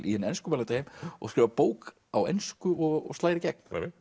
í hinn enskumælandi heim og skrifar bók á ensku og slær í gegn